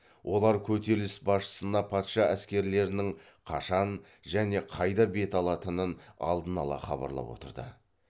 олар көтеріліс басшысына патша әскерлерінің қашан және қайда бет алатынын алдын ала хабарлап отырды